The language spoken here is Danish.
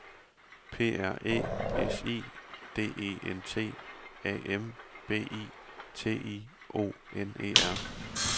P R Æ S I D E N T A M B I T I O N E R